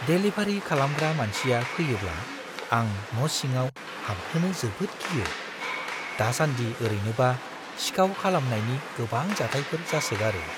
Delivery खालामग्रा मानसिया फैयोब्ला आं न' सिङाव हाबहोनो जोबोद गियो। दासान्दि ओरैनोबा सिखाव खालामनायनि गोबां जाथायफोर जासोगारो।